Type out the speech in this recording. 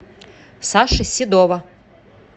саши седова